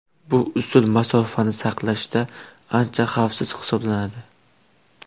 Bu usul masofani saqlashda ancha xavfsiz hisoblanadi.